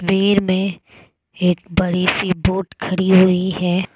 में एक बड़ी सी बोट खड़ी हुई है।